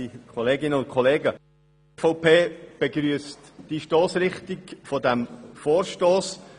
Die EVP begrüsst die Stossrichtung dieses Vorstosses.